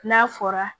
N'a fɔra